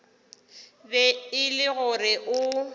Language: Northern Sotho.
be e le gore o